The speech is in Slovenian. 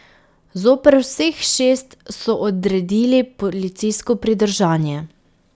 Zoper vseh šest so odredili policijsko pridržanje.